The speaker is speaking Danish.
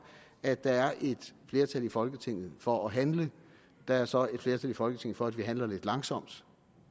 at der er et flertal i folketinget for at handle der er så et flertal i folketinget for at vi handler lidt langsomt